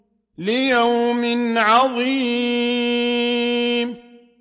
لِيَوْمٍ عَظِيمٍ